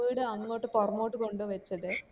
വീട് അങ്ങോട്ട് പൊറകോട്ട് കൊണ്ട് വച്ചത്